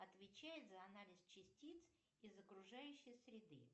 отвечает за анализ частиц из окружающей среды